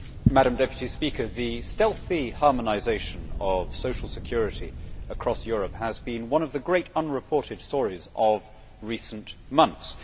Madam President, the stealthy harmonisation of social security across Europe has been one of the great unreported stories of recent months.